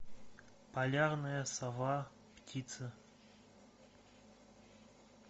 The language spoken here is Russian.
полярная сова птица